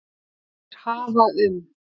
Þeir hafa um